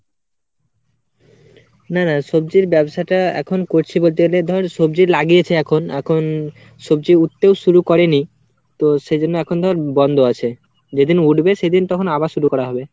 না না সবজির ব্যবসাটা এখন করছি বলতে গেলে ধর সবজি লাগিয়েছে এখন। এখন সবজি উঠতেও শুরু করেনি। তো সেজন্য এখন ধর বন্ধ আছে। যেদিন উঠবে সেদিন তখন আবার শুরু করা হবে।